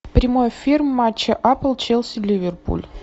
прямой эфир матча апл челси ливерпуль